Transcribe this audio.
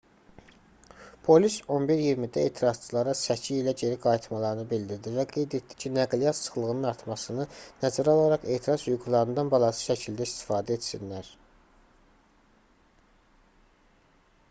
polis 11:20-də etirazçılara səki ilə geri qayıtmalarını bildirdi və qeyd etdi ki nəqliyyat sıxlığının artmasını nəzərə alaraq etiraz hüquqlarından balanslı şəkildə istifadə etsinlər